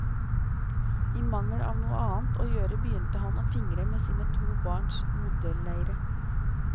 I mangel av noe annet å gjøre begynte han å fingre med sine to barns modelleire.